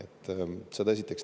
Seda esiteks.